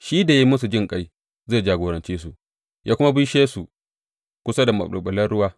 Shi da ya yi musu jinƙai zai jagorance su ya kuma bishe su kusa da maɓulɓulan ruwa.